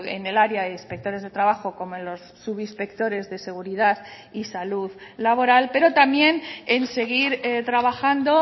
en el área de inspectores de trabajo como en los subinspectores de seguridad y salud laboral pero también en seguir trabajando